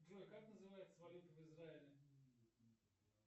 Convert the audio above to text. джой как называется валюта в израиле